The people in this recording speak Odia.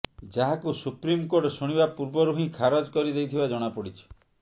ଯାହାକୁ ସୁପ୍ରିମକୋର୍ଟ ଶୁଣାଣି ପୂର୍ବରୁ ହିଁ ଖାରଜ କରିଦେଇଥିବା ଜଣାପଡ଼ିଛି